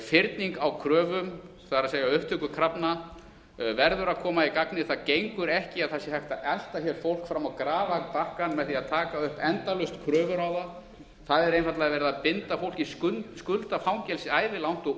fyrning á kröfum það er upptöku krafna verður að koma í gagnið það gengur ekki að það sé hægt að elta hér fólk fram á grafarbakkann með því að taka upp endalaust kröfur á það það er einfaldlega verið að binda fólk í skuldafangelsi ævilangt og